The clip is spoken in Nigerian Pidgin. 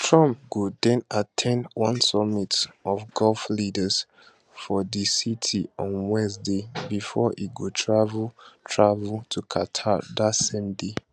trump go den at ten d one summit of gulf leaders for di city on wednesday bifor e go travel travel to qatar dat same day